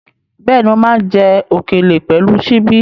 Bẹ́ẹ̀ni, mo máa ń jẹ òkèlè pẹ̀lú ṣíbí.